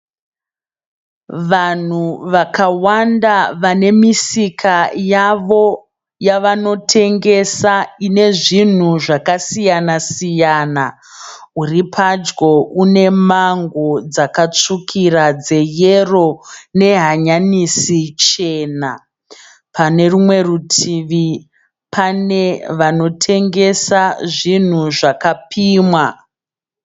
Vanhu vakawana vanemisika yavo yavanotengesa inezvinhu zvakasiyana siyana uripadyo unemango dzakatsvukira dzeyero nehanyanisi chena. Pane rumwe rutivi pane vanotengesa zvinhu zvakapimwa.